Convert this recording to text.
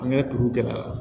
An ka kuru gɛlɛya